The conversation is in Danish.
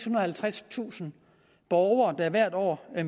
og halvtredstusind borgere der hvert år